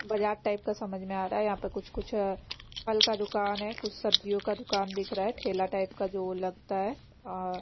बजार टाइप का समझ में आ रहा है यहाँ पे कुछ-कुछ अ फल का दुकान है कुछ सब्जियों का दुकान दिख रहा है ठेला टाइप का जो वो लगता है अ --